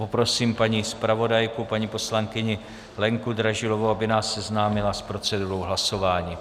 Poprosím paní zpravodajku paní poslankyni Lenku Dražilovou, aby nás seznámila s procedurou hlasování.